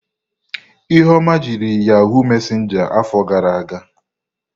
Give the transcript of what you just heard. Ihuoma jiri yahụụ mesenja afọ gara aga.